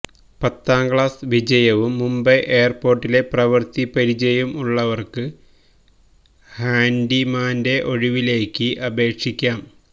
പത്താം ക്ലാസ് വിജയവും മുംബൈ എയര്പോര്ട്ടില് പ്രവൃത്തി പരിചയവും ഉള്ളവര്ക്ക് ഹാന്ഡിമാന്റെ ഒഴിവിലേക്ക് അപേക്ഷിക്കാം